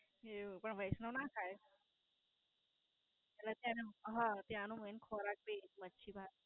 એવું. પણ વૈષ્ણવ ના ખાય એટલે ત્યાંનું હ. ત્યાંનું મેઈન ખવાતી મચ્છી-ભાત.